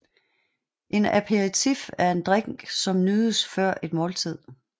En aperitif er en drik som nydes før et måltid